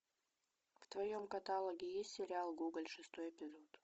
в твоем каталоге есть сериал гоголь шестой эпизод